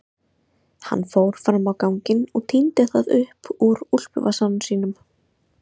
Hann fór fram á ganginn og tíndi það upp úr úlpuvasanum sínum.